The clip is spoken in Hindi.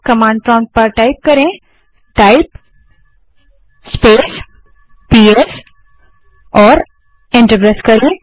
कमांड प्रोंप्ट पर टाइप करें type स्पेस पीएस और एंटर प्रेस करें